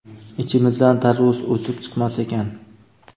ichimizdan tarvuz o‘sib chiqmas ekan.